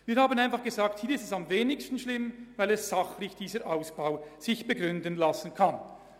Wir haben uns gesagt, dass es am wenigsten schlimm ist, hier zu sparen, weil man es sachlich begründen kann.